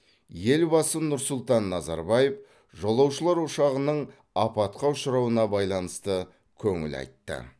елбасы нұр сұлтан назарбаев жолаушылар ұшағының апатқа ұшырауына байланысты көңіл айтты